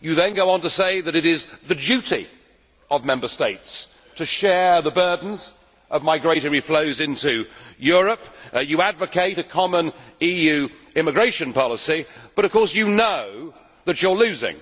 You then go on to say that it is the duty of Member States to share the burdens of migratory flows into Europe. You advocate a common EU immigration policy, but of course you know that you are losing